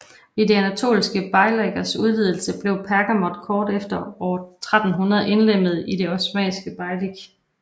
Ved de anatoliske beylikers udvidelse blev Pergamon kort efter år 1300 indlemmet i det osmanniske beylik